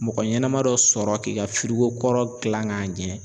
Mɔgɔ ɲɛnama dɔ sɔrɔ k'i ka kɔrɔ gilan k'a ɲɛ